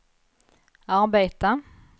arbeta